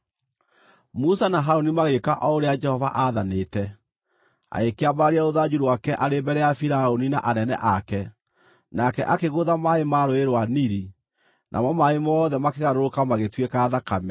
Musa na Harũni magĩĩka o ũrĩa Jehova aathanĩte. Agĩkĩambararia rũthanju rwake arĩ mbere ya Firaũni na anene ake, nake akĩgũtha maaĩ ma Rũũĩ rwa Nili, namo maaĩ mothe makĩgarũrũka magĩtuĩka thakame.